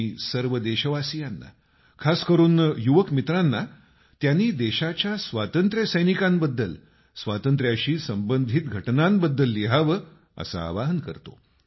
मी सर्व देशवासी आणि खासकरून युवक मित्रांना त्यांनी देशाच्या स्वातंत्र्यसैनिकांबद्दल स्वातंत्ऱ्या शी संबंधित घटनांबद्दल लिहावं असं आवाहन करतो